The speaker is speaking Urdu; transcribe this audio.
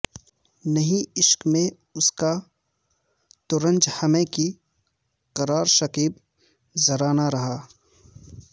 نہیں عشق میں اس کا تو رنج ہمیں کہ قرار شکیب ذرا نہ رہا